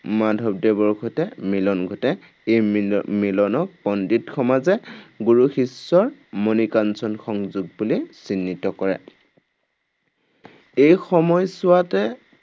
মাধৱদেৱৰ সৈতে মিলন ঘটে। এই মিল মিলনক পণ্ডিত সমাজে গুৰু শিষ্যৰ মণিকাঞ্চন সংযোগ বুলি চিহ্নিত কৰে। এই সময়ছোৱাতে